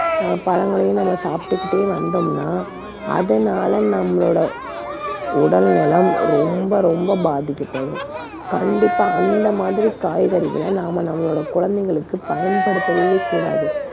அஹ் பழங்களையும் நம்ம சாப்பிட்டுகிட்டே வந்தோம்ன்னா அதனால நம்மளோட உடல் நலம் ரொம்ப, ரொம்ப பாதிக்கப்படும். கண்டிப்பா அந்த மாதிரிக் காய்கறிகளை நாம நம்மளோட குழந்தைகளுக்குப் பயன்படுத்தவே கூடாது.